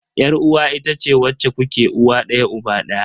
Yar uwa itace wacce kuke uwa daya uba daya.